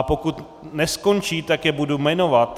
A pokud neskončí, tak je budu jmenovat...